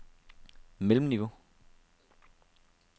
mellemniveau